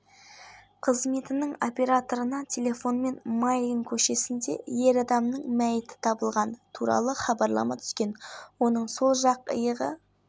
жоспары жарияланды нұрсая шағын ауданында жүргізілген операция барысында көлігі тоқтатылып ер адамды өлтірді деген күдікпен